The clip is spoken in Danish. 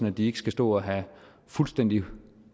at de ikke skal stå og have fuldstændig